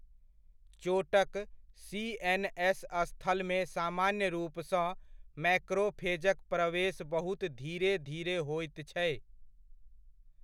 चोटक सी.एन.एस. स्थलमे सामान्य रूपसँ मैक्रोफेजक प्रवेश बहुत धीेरे धीरे होइत छै।